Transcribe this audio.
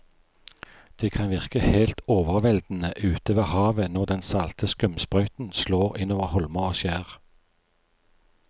Det kan virke helt overveldende ute ved havet når den salte skumsprøyten slår innover holmer og skjær.